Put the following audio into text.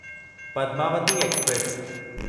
Padmavati express